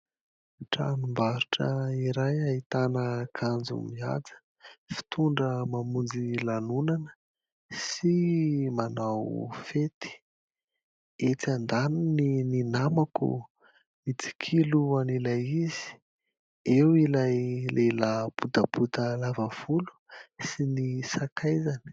Tranom-barotra iray ahitana akanjo mihaja, fitondra mamonjy lanonana sy manao fety; etsy an-daniny ny namako mitsikilo an'ilay izy, eo ilay lehilahy botabota lava volo sy ny sakaizany.